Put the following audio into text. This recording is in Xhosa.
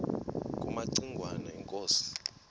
kumaci ngwana inkosi